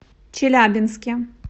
челябинске